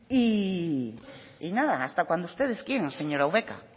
y nada hasta cuando ustedes quieran señora ubera